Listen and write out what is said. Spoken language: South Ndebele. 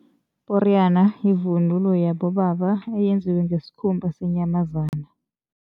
Iporiyana yivunulo yabobaba eyenziwe ngesikhumba senyamazana.